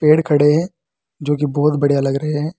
पेड़ खड़े हैं जो की बहुत बढ़िया लग रहे हैं।